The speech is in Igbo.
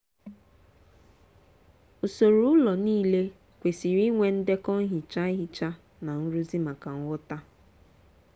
usoro ụlọ niile kwesiri inwe ndekọ nhicha ihicha na nrụzi maka nghọta.